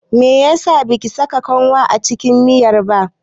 Meyasa baki saka kanwa a cikin miyar ba?